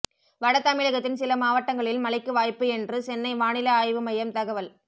வட தமிழகத்தின் சில மாவட்டங்களில் மழைக்கு வாய்ப்பு என்று சென்னை வானிலை ஆய்வு மையம் தகவல்